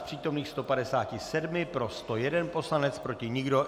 Z přítomných 157 pro 101 poslanec, proti nikdo.